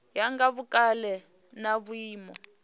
ya nga vhukale na vhuimo